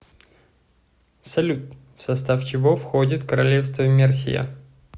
салют в состав чего входит королевство мерсия